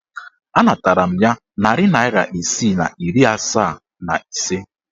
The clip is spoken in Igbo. Anatara m ya narị naịra isii na iri asaa na ise.